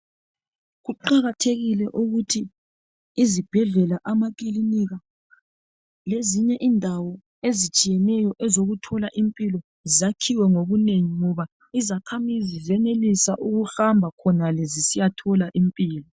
Kuqakathekile ukuthi izibhedlela, amakilinika lezinye indawo ezitshiyeneyo ezokuthola impilo zakhiwe ngobunengi ngoba izakhamizi zenelisa ukuhamba khonale zisiyathola impilo.